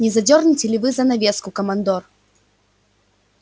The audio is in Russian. не задёрнете ли вы занавеску командор